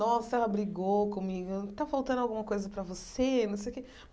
Nossa, ela brigou comigo, tá faltando alguma coisa para você, não sei o quê.